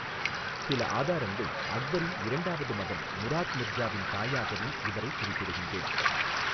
சில ஆதாரங்கள் அக்பரின் இரண்டாவது மகன் முராத் மிர்சாவின் தாயாகவும் இவரை குறிப்பிடுகின்றேன்.